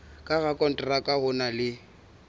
ka rakonteraka o na le